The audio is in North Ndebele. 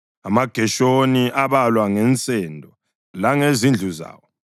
AmaGeshoni abalwa ngensendo langezindlu zawo.